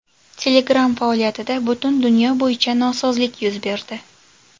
Telegram faoliyatida butun dunyo bo‘yicha nosozlik yuz berdi.